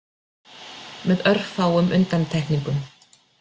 Með örfáum undantekningum.